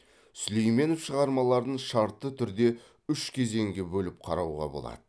сүлейменов шығармаларын шартты түрде үш кезеңге бөліп қарауға болады